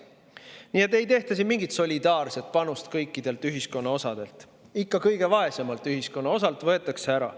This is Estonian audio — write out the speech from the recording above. Nii et ei siin mingit solidaarset panust kõikidelt ühiskonnaosadelt, vaid ikka kõige vaesemalt ühiskonnaosalt võetakse ära.